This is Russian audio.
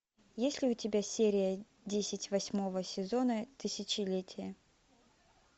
есть ли у тебя серия десять восьмого сезона тысячелетие